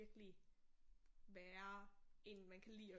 Virkelig være en man kan lide at